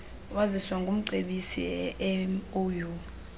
waziswa ngumcebisi emou